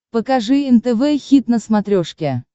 покажи нтв хит на смотрешке